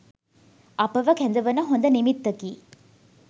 අපව කැඳවන හොඳ නිමිත්තකි.